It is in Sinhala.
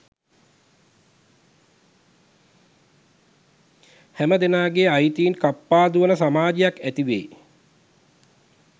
සැමදෙනාගේ අයිතීන් කප්පාදු වන සමාජයක් ඇතිවේ